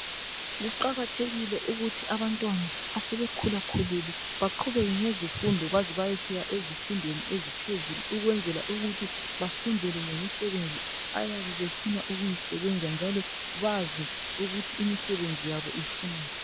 Kuqakathekile ukuthi abantwana esebekhulakhulile baqhubeke ngezifundo baze bayefika ezifundweni eziphezulu ukwenzela ukuthi, bafundele lemisebenzi abayabe befuna ukuyisebenza njalo bazi ukuthi imisebenzi yabo ifunani.